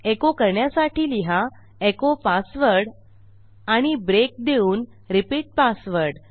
एको करण्यासाठी लिहा एचो पासवर्ड आणि ब्रेक देऊन रिपीट पासवर्ड